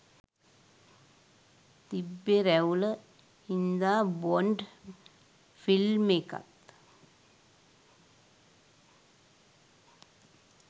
තිබ්බේ ‍රැවුල හින්දාබොන්ඩ් ‍ෆිල්මෙකත්